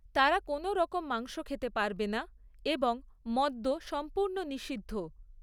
তারা কোনোরকম মাংস খেতে পারবে না এবং মদ্য সম্পূর্ণ নিষিদ্ধ।